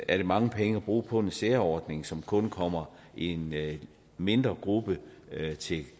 er det mange penge at bruge på en særordning som kun kommer en mindre gruppe til